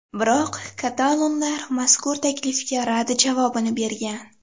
Biroq katalonlar mazkur taklifga rad javobini bergan.